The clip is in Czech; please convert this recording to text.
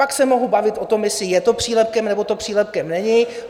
Pak se mohu bavit o tom, jestli je to přílepkem, nebo to přílepkem není.